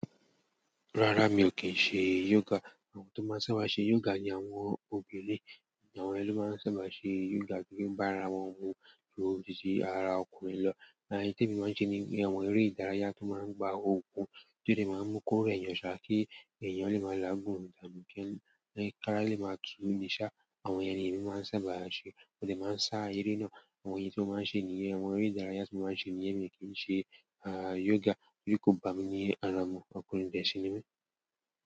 Rárá mi ò kí ṣe yoga. Àwọn tó máa ń sábà ṣe yoga ni àwọn obìnrin, àwọn yen ló máa ń sábà ṣe yoga kí ó bá ara wọn mu ju tìsí ara ọkùnrin lọ. Àìní tí èmi máa ń ṣe ni àwọn eré ìdárayá tó máa ń gba okun tí ó lè máa mú kórè yàn ṣa kí ènìyàn lè máa laágùn mú kí ńlá ìkára lè máa tu ní ṣá. Àwọn èyàn ní èmi máa ń sábà ṣe mó dè máa ń sá eré náà. Àwọn èyí tí ó máa ń ṣe níyẹn. Àwọn eré ìdárayá tí ó máa ń ṣe níyẹn mi ò kí ń ṣe yoga torí kò bá mi ní ara ọmọ ọkùnrin bẹ́ẹ̀ sí ní mí.